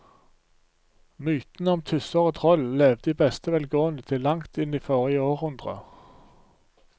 Mytene om tusser og troll levde i beste velgående til langt inn i forrige århundre.